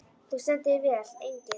Þú stendur þig vel, Engill!